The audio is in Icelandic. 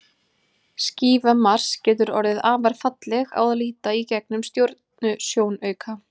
Skífa Mars getur orðið afar falleg á að líta í gegnum stjörnusjónauka.